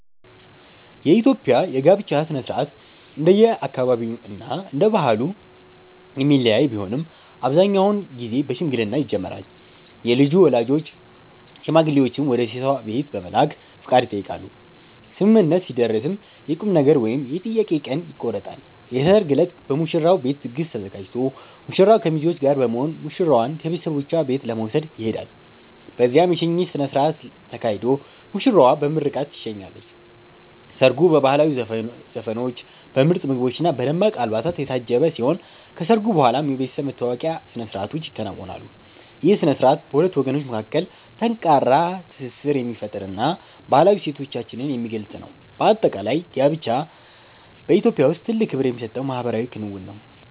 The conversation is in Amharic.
የኢትዮጵያ የጋብቻ ሥነ ሥርዓት እንደየአካባቢውና እንደየባህሉ የሚለያይ ቢሆንም፣ አብዛኛውን ጊዜ በሽምግልና ይጀምራል። የልጁ ወላጆች ሽማግሌዎችን ወደ ሴቷ ቤት በመላክ ፈቃድ ይጠይቃሉ፤ ስምምነት ሲደረስም የቁምነገር ወይም የጥያቄ ቀን ይቆረጣል። የሰርግ ዕለት በሙሽራው ቤት ድግስ ተዘጋጅቶ ሙሽራው ከሚዜዎቹ ጋር በመሆን ሙሽራዋን ከቤተሰቦቿ ቤት ለመውሰድ ይሄዳል። በዚያም የሽኝት ሥነ ሥርዓት ተካሂዶ ሙሽራዋ በምርቃት ትሸኛለች። ሰርጉ በባህላዊ ዘፈኖች፣ በምርጥ ምግቦችና በደማቅ አልባሳት የታጀበ ሲሆን፣ ከሰርጉ በኋላም የቤተሰብ መተዋወቂያ ሥነ ሥርዓቶች ይከናወናሉ። ይህ ሥነ ሥርዓት በሁለት ወገኖች መካከል ጠንካራ ትስስር የሚፈጥርና ባህላዊ እሴቶቻችንን የሚገልጽ ነው። በአጠቃላይ፣ ጋብቻ በኢትዮጵያ ውስጥ ትልቅ ክብር የሚሰጠው ማኅበራዊ ክንውን ነው።